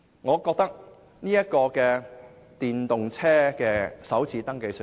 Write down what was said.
我覺得電動車首次登記稅豁免......